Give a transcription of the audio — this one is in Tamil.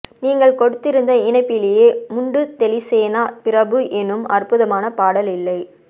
நீங்கள் கொடுத்திருந்த இணைப்பிலேயே முண்டு தெலிசேனா பிரபு என்னும் அற்புதமான பாடல் இல்லை